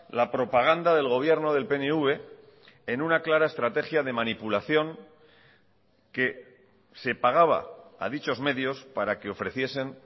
la propaganda del gobierno del pnv en una clara estrategia de manipulación que se pagaba a dichos medios para que ofreciesen